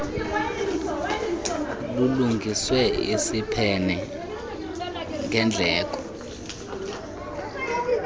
lulungiswe isiphene ngendleko